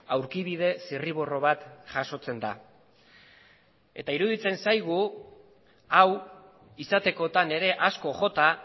aurkibide zirriborro bat jasotzen da eta iruditzen zaigu hau izatekotan ere asko jota